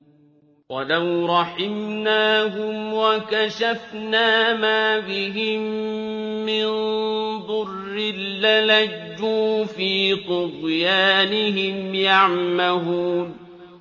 ۞ وَلَوْ رَحِمْنَاهُمْ وَكَشَفْنَا مَا بِهِم مِّن ضُرٍّ لَّلَجُّوا فِي طُغْيَانِهِمْ يَعْمَهُونَ